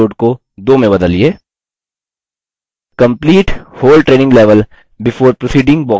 complete whole training level before proceeding box को check करें